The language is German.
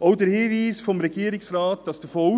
Auch der Hinweis des Regierungsrates, dass davon